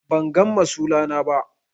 bangan masula na ba